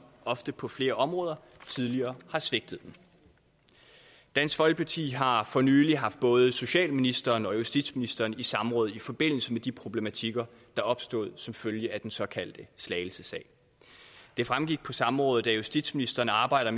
ofte på flere områder tidligere har svigtet dansk folkeparti har for nylig haft både socialministeren og justitsministeren i samråd i forbindelse med de problematikker er opstået som følge af den såkaldte slagelsesag det fremgik på samrådet at justitsministeren arbejder